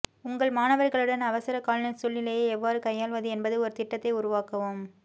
உங்கள் மாணவர்களுடன் அவசரகால சூழ்நிலைகளை எவ்வாறு கையாள்வது என்பது ஒரு திட்டத்தை உருவாக்கவும்